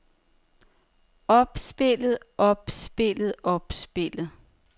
opspillet opspillet opspillet